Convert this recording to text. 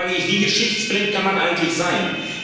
Da frage ich Wie geschichtsblind kann man eigentlich sein?